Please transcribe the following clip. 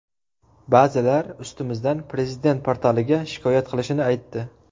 Ba’zilar ustimizdan Prezident portaliga shikoyat qilishini aytdi.